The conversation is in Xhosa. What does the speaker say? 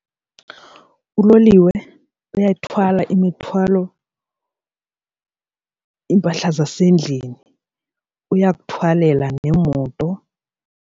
Uloliwe uyayithwala imithwalo iimpahla zasendlini, uyakuthwalela neemoto.